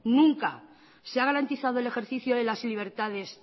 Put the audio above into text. nunca se ha garantizado el ejercicio de las libertades